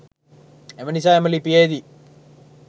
එම නිසා එම ලිපියේදී